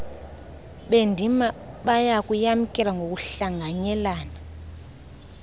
bendima bayakuyamkela ngokuhlanganyelana